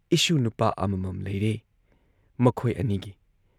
ꯏꯁꯨ ꯅꯨꯄꯥ ꯑꯃꯃꯝ ꯂꯩꯔꯦ ꯃꯈꯣꯏ ꯑꯅꯤꯒꯤ ꯫